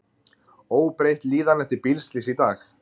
Óbreytt líðan eftir bílslys í dag